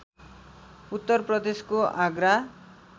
उत्तरप्रदेशको Agra